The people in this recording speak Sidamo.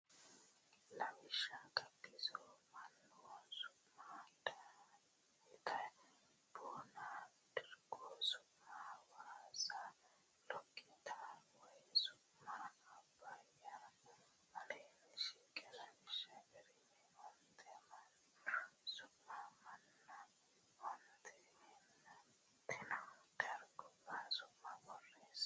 Lawishsha Gabbiso mannu su ma Daaite Boona dargu su ma Hawaasa Loggita way su ma Abbay Aleenni shiqino lawishshi garinni onte mannu su manna onte egennantino dargubba su ma borreesse.